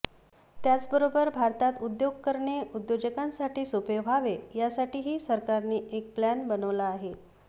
त्याचबरोबर भारतात उद्योग करणे उद्योजकांसाठी सोपे व्हावे यासाठीही सरकारने एक प्लॅन बनवला आहे